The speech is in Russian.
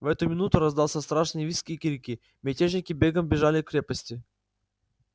в эту минуту раздался страшный визг и крики мятежники бегом бежали к крепости